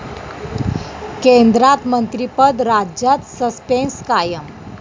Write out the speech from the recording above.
केंद्रात मंत्रिपद, राज्यात सस्पेंस कायम